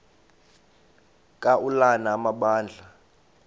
ka ulana amabandla